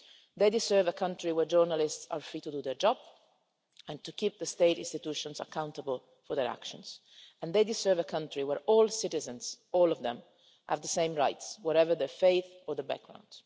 They deserve a country where journalists are free to do their job and keep the state institutions accountable for their actions and they deserve a country where all citizens, all of them, have the same rights, whatever their faith or the background.